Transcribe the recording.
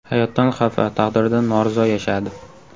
Hayotdan xafa, taqdiridan norizo yashadi.